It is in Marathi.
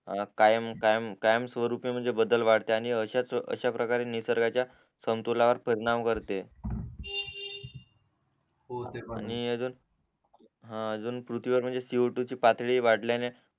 कायम कायम कायम स्वरूपी म्हणजे बदल वाढते आणि अश्या प्रकारे निसर्गाच्या संतुलावर परिणाम करते हो ते पण आणि अजून पृथ्वीवर म्हणजे सीओटू ची पातळी वाढल्यान